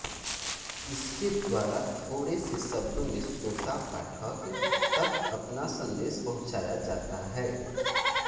इसके द्वारा थोड़े से शब्दों में श्रोता पाठक तक अपना सन्देश पहुंचाया जाता है